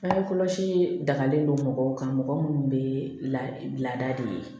Bange kɔlɔsi dagalen don mɔgɔw kan mɔgɔ minnu bɛ laada de ye